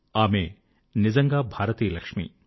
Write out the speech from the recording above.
ఆమె నిజంగా భారతీయ లక్ష్మి